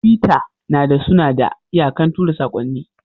tiwita nada Sunada iyakan tura sakonni.